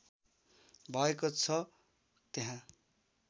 भएको छ त्यहाँ